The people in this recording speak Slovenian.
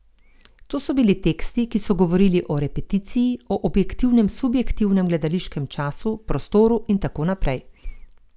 To so bili teksti, ki so govorili o repeticiji, o objektivnem subjektivnem, gledališkem času, prostoru in tako naprej.